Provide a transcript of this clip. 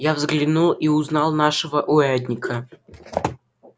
я взглянул и узнал нашего урядника